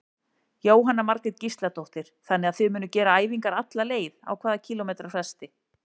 Jóhanna Margrét Gísladóttir: Þannig að þið munuð gera æfingar alla leið, á hvað kílómetra fresti?